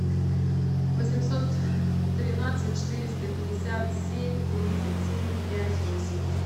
восемьсот тринадцать четыреста пятьдесят семь тридцать семь пять восемь